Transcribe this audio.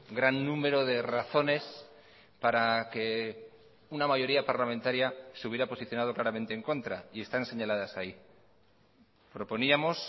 gran número de razones para que una mayoría parlamentaria se hubiera posicionado claramente en contra y están señaladas ahí proponíamos